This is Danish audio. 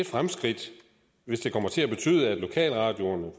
fremskridt hvis det kommer til at betyde at lokalradioerne